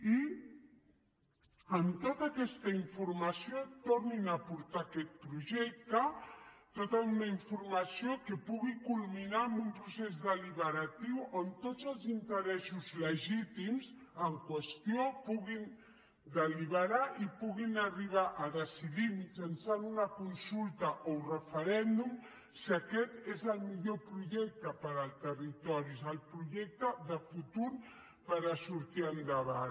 i amb tota aquesta informació tornin a portar aquest projecte tota una informació que pugui culminar amb un procés deliberatiu on tots els interessos legítims en qüestió puguin deliberar i puguin arribar a decidir mitjançant una consulta o un referèndum si aquest és el millor projecte per al territori és el projecte de futur per a sortir endavant